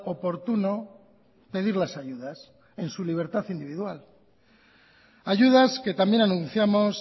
oportuno pedir las ayudas en su libertad individual ayudas que también anunciamos